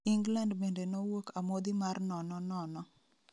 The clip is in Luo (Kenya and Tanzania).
England bende nowuok amodhi mar nono nono